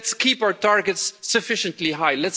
Let's keep our targets sufficiently high.